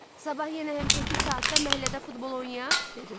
Sabah yenə həmişəki saatda məhəllədə futbol oynayaq?